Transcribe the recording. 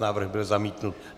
Návrh byl zamítnut.